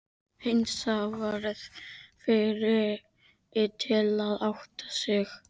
Heinz varð fyrri til að átta sig.